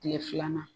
Kile filanan